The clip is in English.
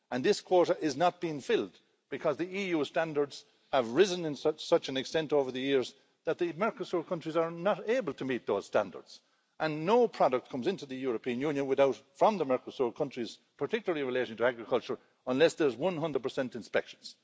And this quota is not being filled, because the EU standards have risen in such an extent over the years that the Mercosur countries are not able to meet those standards, and no product comes into the European Union from the Mercosur countries, particularly related to agriculture, unless there's 100 inspections.